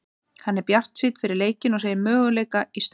Hann er bjartsýnn fyrir leikinn og segir möguleika í stöðunni.